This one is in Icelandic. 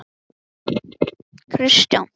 Þau voru á leið til Íslands.